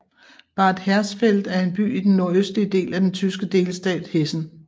Bad Hersfeld er en by i den nordøstlige del af den tyske delstat Hessen